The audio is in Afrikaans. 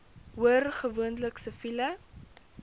hoor gewoonlik siviele